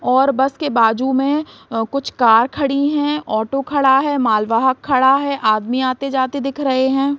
और बस के बाजु में कुछ कार खड़ी है ऑटो खड़ा है माल वाहक खड़ा है आदमी आते-जाते दिख रहे है।